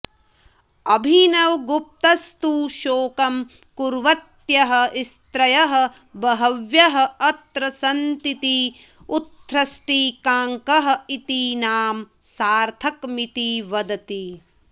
अभिनवगुप्तस्तु शोकं कुर्वत्यः स्त्रियः बह्व्यः अत्र सन्तीति उत्सृष्टिकाङ्क इति नाम सार्थकमिति वदति